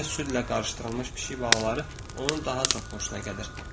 Guya südlə qarışdırılmış pişik balaları onun daha çox xoşuna gəlir.